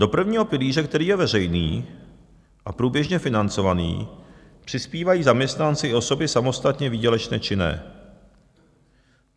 Do prvního pilíře, který je veřejný a průběžně financovaný, přispívají zaměstnanci i osoby samostatně výdělečně činné.